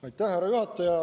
Aitäh, härra juhataja!